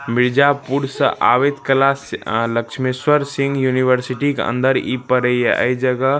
मिर्जापूर से आवित कला से अ लक्ष्मेश्वर सिंग युनिवेर्सिटी के अंदर ई प पड़ी हिय अ ई जगह --